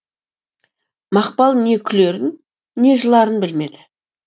мақпал не күлерін не жыларын білмеді